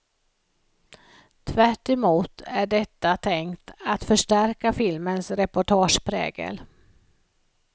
Tvärtemot är detta tänkt att förstärka filmens reportageprägel.